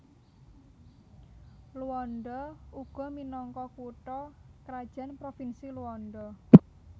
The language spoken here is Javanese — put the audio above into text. Luanda uga minangka kutha krajan Provinsi Luanda